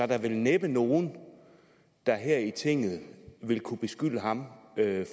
der vel næppe nogen der her i tinget vil kunne beskylde ham